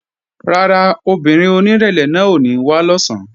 Rárá, obìnrin onírẹ̀lẹ̀ náà ò ní wá lọ̀sán